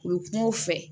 U ye kumaw fɛ